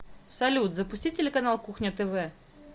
салют запусти телеканал кухня тв